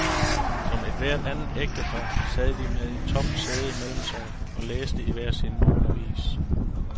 Som ethvert andet ægtepar sad de med et tomt sæde mellem sig og læste i hver sin morgenavis.